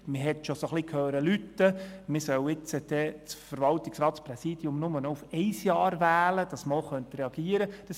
Es war zu hören, man solle das Verwaltungsratspräsidium nur noch für ein Jahr wählen, damit man nötigenfalls reagieren könne.